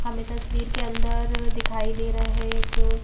हमें तस्वीर के अंदर दिखाई दे रहा है एक--